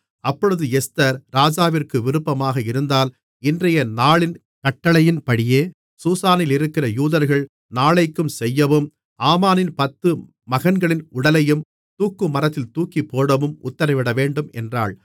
அப்பொழுது எஸ்தர் ராஜாவிற்கு விருப்பமாக இருந்தால் இன்றையநாளின் கட்டளையின்படியே சூசானிலிருக்கிற யூதர்கள் நாளைக்கும் செய்யவும் ஆமானின் பத்து மகன்களின் உடலையும் தூக்குமரத்தில் தூக்கிப்போடவும் உத்திரவிடவேண்டும் என்றாள்